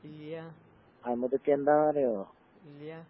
ഇല്ല്യ ഇല്ല്യ.